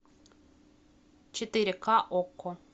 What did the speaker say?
четыре ка окко